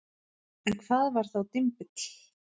En hvað var þá dymbill?